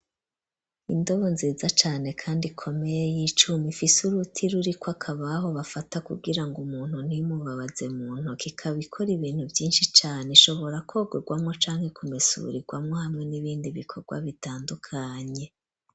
Ondobo nziza cane kandi komeye y'icumi ifise uruti ruriko akabaho bafata kugira ngo umuntu ntimubabaze mu ntoke ikaba ikora ibintu vyinshi cane ishobora kwogerwamo canke kumesurirwamo hamwe n'ibindi bikorwa bitandukanye.